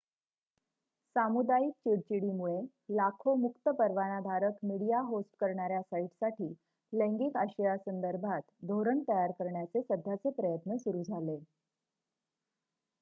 सामुदायिक चिडचिडीमुळे लाखो मुक्त परवानाधारक मीडिया होस्ट करणाऱ्या साइटसाठी लैंगिक आशयासंदर्भात धोरण तयार करण्याचे सध्याचे प्रयत्न सुरू झाले